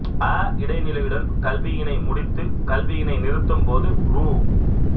அ இடைநிலையுடன் கல்வியினை முடித்து கல்வியினை நிறுத்தும் போது ரூ